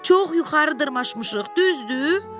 Çox yuxarı dırmaşmışıq, düzdür?